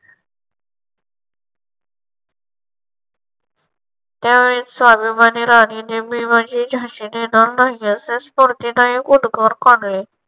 त्यावेळी स्वाभिमानी राणीने मी माझी झाशी देणार नाही असे स्फूर्तीदायक उद्गार काढले.